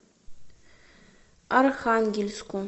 архангельску